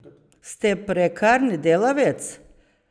Ste prekarni delavec?